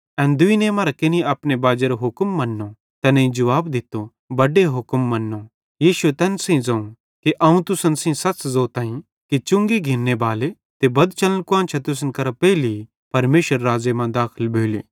एन दुइने मरां केनि अपने बाजेरो हुक्म मन्नो तैनेईं जुवाब दित्तो बड्डे हुक्म मन्नो यीशुए तैन सेइं ज़ोवं कि अवं तुसन सेइं सच़ ज़ोताईं कि चुंगी घिन्ने बाले ते बदचलन कुआन्शां तुसन करां पेइले परमेशरेरे राज़ मां दाखल भोली